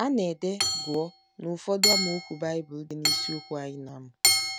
A na - ede “ gụọ ” n’ụfọdụ amaokwu Baịbụl dị n’isiokwu anyị na - amụ.